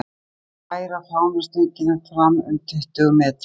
Nú skulum við færa fánastöngina fram um tuttugu metra.